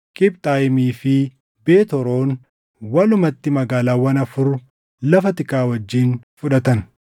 Qibxaayimii fi Beet Horoon, walumatti magaalaawwan afur lafa tikaa wajjin fudhatan.